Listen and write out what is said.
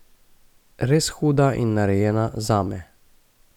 Res huda in narejena zame.